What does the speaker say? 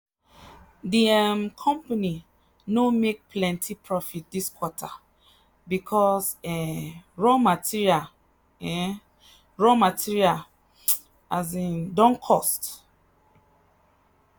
the um company no make plenty profit this quarter because um raw material um raw material um don cost.